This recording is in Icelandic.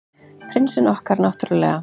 Prinsinn okkar, náttúrlega.